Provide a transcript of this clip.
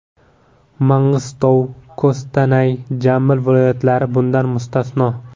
Mang‘istov, Kostanay, Jambil viloyatlari bundan mustasno.